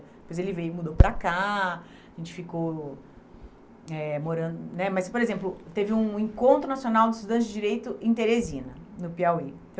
Depois ele veio e mudou para cá, a gente ficou eh morando né... Mas, por exemplo, teve um encontro nacional de estudantes de direito em Teresina, no Piauí.